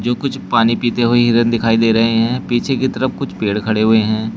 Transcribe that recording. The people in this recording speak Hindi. कुछ पानी पीते हुए हिरन दिखाई दे रहे हैं पीछे की तरफ कुछ पेड़ खड़े हुए हैं।